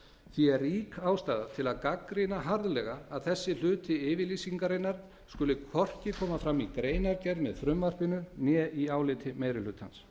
því er rík ástæða til að gagnrýna harðlega að þessi hluti yfirlýsingarinnar skuli hvorki koma fram í greinargerð með frumvarpinu né í áliti meiri hlutans